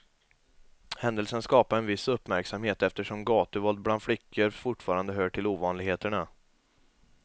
Händelsen skapade viss uppmärksamhet eftersom gatuvåld bland flickor fortfarande hör till ovanligheterna.